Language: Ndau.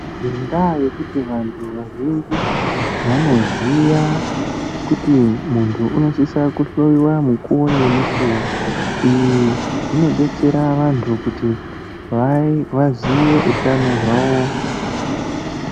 Ngendaa yekuti vantu vazhinji vanoziya kuti muntu unosisa kuhloiwa mukuwo ngemukuwo izvi zvinodetsera vantu kuti vaziye utano hwavo.